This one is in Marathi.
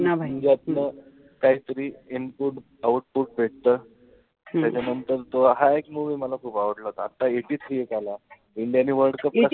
यातनं काहीतरी input output भेटत. त्याच्यानंतर तो हा एक movie मला खूप आवडला होता. आता eighty three हा एक आला. ज्यांनी